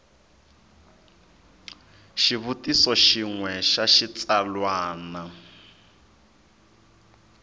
xivutiso xin we xa xitsalwana